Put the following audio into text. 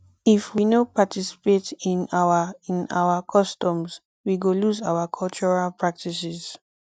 if we no participate in our in our customs we go lose our cultural practices